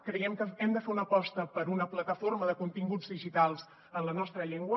creiem que hem de fer una aposta per una plataforma de continguts digitals en la nostra llengua